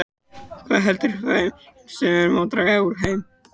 Hvað veldur þeim og hvernig má draga úr þeim?